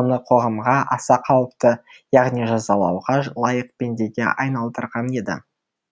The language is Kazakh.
оны қоғамға аса қауіпті яғни жазалауға лайық пендеге айналдырған еді